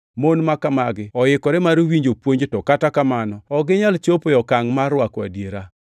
mon makamagi oikore mar winjo puonj to kata kamano ok ginyal chopo e okangʼ mar rwako adiera.